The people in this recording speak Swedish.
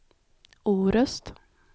Orust